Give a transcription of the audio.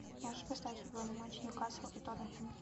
можешь поставить футбольный матч ньюкасл и тоттенхэм